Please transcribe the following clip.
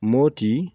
Mɔti